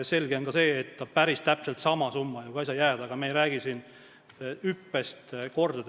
Selge on ka see, et päris täpselt samaks ei saa summa ju ka jääda, aga me ei räägi siin hüppest, et suureneb mitu korda.